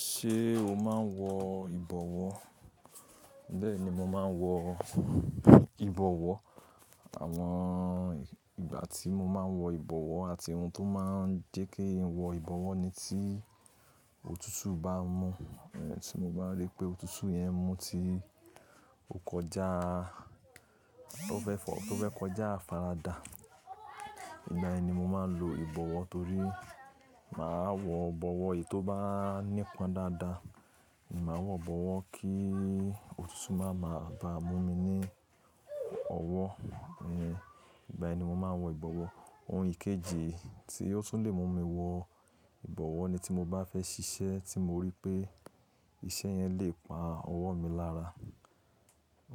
Ṣé o máa ń wọ ìbọ̀wọ́? Bẹ́ẹ̀ ni mo máa ń wọ ìbọ̀wọ́. Àwọn ìgbà tí mo máa ń wọ ìbọ̀wọ́ àti ohun tó máa ń jẹ́ keeyan wọ ìbọ̀wọ́ ni tí òtútù bá mú, tí mo bá rí pé òtútù yẹn mú ti ò kọjá, tó fẹ́ kọjá afaradà, ìgbà yẹn ni mo máa ń lo ìbọ̀wọ́ torí máa wọ bọ̀wọ́ èyí tó bá nípan dáadáa. Ni máa wọ bọ̀wọ́ kí òtútù máa ma ba mú mi ní ọwọ́. Hẹ̀n, ìgbà yẹn ni mo máa ń wọ ìbọ̀wọ́. Ohun ìkejì tí ó tún lè mú mi wọ ìbọ̀wọ́ ni tí mo bá fẹ́ ṣiṣẹ́ tí mo rí pé iṣẹ́ yẹn lè pa ọwọ́ mi lára.